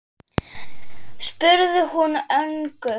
spurði hún önug.